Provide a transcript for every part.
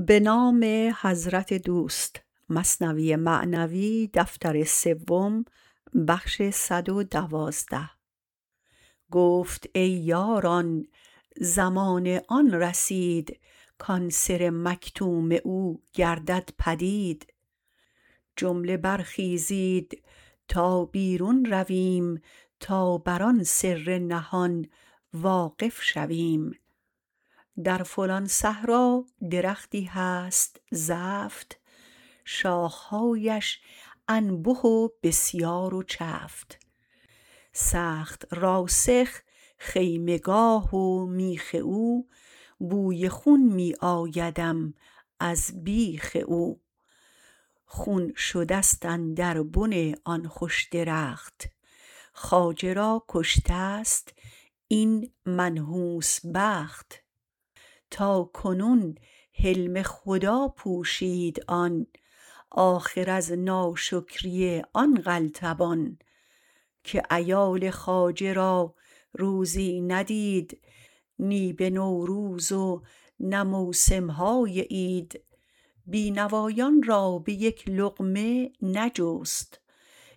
گفت ای یاران زمان آن رسید کان سر مکتوم او گردد پدید جمله برخیزید تا بیرون رویم تا بر آن سر نهان واقف شویم در فلان صحرا درختی هست زفت شاخهااش انبه و بسیار و چفت سخت راسخ خیمه گاه و میخ او بوی خون می آیدم از بیخ او خون شدست اندر بن آن خوش درخت خواجه را کشتست این منحوس بخت تا کنون حلم خدا پوشید آن آخر از ناشکری آن قلتبان که عیال خواجه را روزی ندید نه به نوروز و نه موسمهای عید بی نوایان را به یک لقمه نجست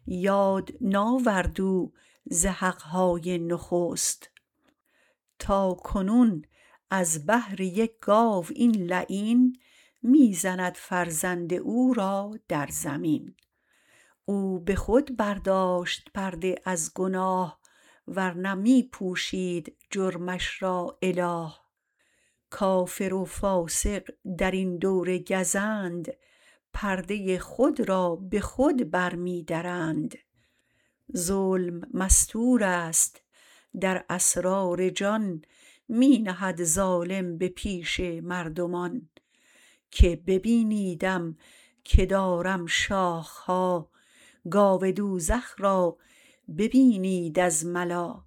یاد ناورد او ز حقهای نخست تا کنون از بهر یک گاو این لعین می زند فرزند او را در زمین او بخود برداشت پرده از گناه ورنه می پوشید جرمش را اله کافر و فاسق درین دور گزند پرده خود را به خود بر می درند ظلم مستورست در اسرار جان می نهد ظالم به پیش مردمان که ببینیدم که دارم شاخها گاو دوزخ را ببینید از ملا